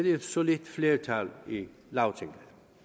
et solidt flertal i lagtinget